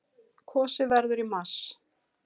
Kosið verður í mars.